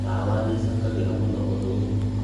ndawa nĩ cicangagĩra mũno ũndũ ũyũ